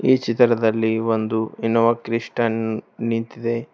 ಈ ಚಿತ್ರದಲ್ಲಿ ಒಂದು ಇನೋವಾ ಕ್ರಿಸ್ಟನ್ ನಿಂತಿದೆ.